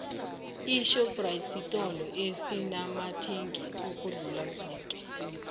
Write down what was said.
ishoprite sitolo esinamathengi ukudlula zoke